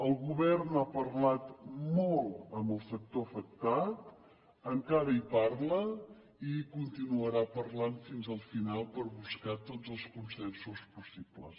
el govern ha parlat molt amb el sector afecta encara hi parla i hi continuarà parlant fins al final per buscar tots els consensos possibles